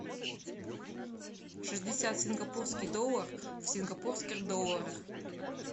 шестьдесят сингапурский доллар в сингапурских долларах